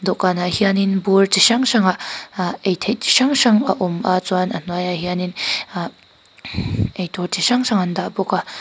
dawhkanah hianin bur chi hrang hrangah ahh ei theih chu hrang hrang a awm a chuan a hnuaiah hianin ahh ei tur chi hrang hrang an dah bawk a.